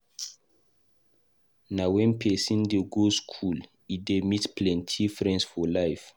Na wen pesin dey go skool e dey meet plenty friends for life.